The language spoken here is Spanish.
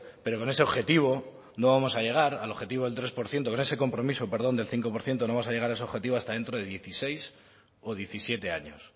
pero con ese objetivo no vamos a llegar al objetivo del tres por ciento con ese compromiso perdón del cinco por ciento no vamos a llegar a ese objetivo hasta dentro de dieciséis o diecisiete años